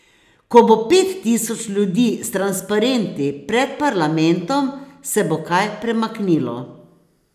Ko bo pet tisoč ljudi s transparenti pred parlamentom, se bo kaj premaknilo.